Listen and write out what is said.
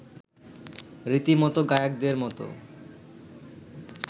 রীতিমতো গায়কদের মতো